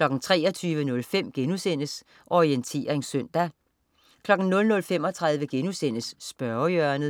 23.05 Orientering søndag* 00.35 Spørgehjørnet*